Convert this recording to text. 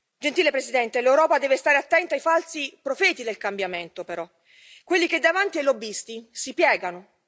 Gentile Presidente, l'Europa deve stare attenta ai falsi profeti del cambiamento, però, quelli che davanti ai lobbisti si piegano.